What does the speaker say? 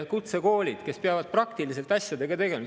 Kutsekoolid peavad praktiliselt asjadega tegelema.